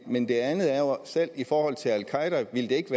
men det andet er jo at selv i forhold til al qaeda ville det ikke